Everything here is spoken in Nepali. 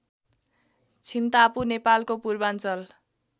छिन्तापु नेपालको पूर्वाञ्चल